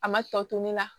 A ma tɔ to ne la